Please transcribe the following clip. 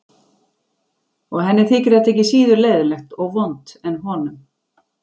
Og henni þyki þetta ekki síður leiðinlegt og vont en honum.